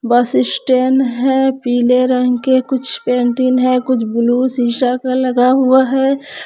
बस स्टेन है पीले रंग के कुछ पेंटिंग है कुछ ब्लू शीशा लगा हुआ है।